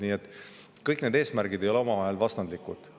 Nii et kõik need eesmärgid ei ole omavahel vastandlikud.